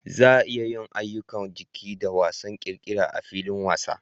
Za a iya yin ayyukan jiki da wasan ƙirƙira a filin wasa.